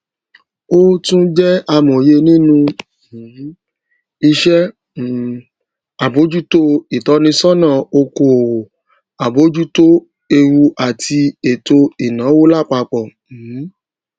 o tún jẹ amòye nínú um iṣẹ um àbójútó ìtọnisọnà okòwò abojuto ewuàti ètò ìnáwó lápapọ um